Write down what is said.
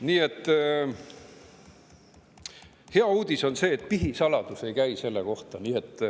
Nii et hea uudis on see, et pihisaladus ei käi selle kohta.